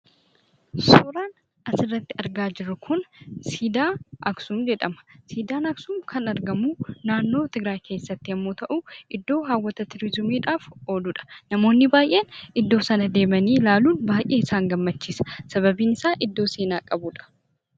Suuraan asirratti argaa jirru kun Siidaa Aksum jedhama. Siidaan Aksum kan argamu naannoo Tigraayii keessatti yommuu ta'u, iddoo hawwata turizimiidhaaf oolu dha. Namoonni baay'een iddoo sana deemanii ilaaluun baay'ee isaan gammachiisa. Sababiin isaa, iddoo seenaa qabuudha.